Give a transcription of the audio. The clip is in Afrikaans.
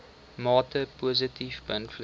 mate positief beïnvloed